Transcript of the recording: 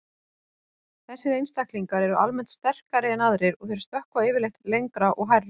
Þessir einstaklingar eru almennt sterkari en aðrir og þeir stökkva yfirleitt lengra og hærra.